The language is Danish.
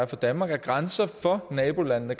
danmark er grænser for nabolandene